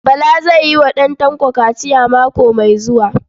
Bala zai yi wa ɗan Tanko kaciya mako mai zuwa.